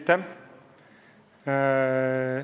Aitäh!